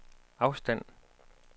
afstand